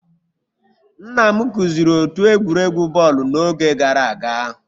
Nna m kụziri otu egwuregwu bọọlụ n'oge gara aga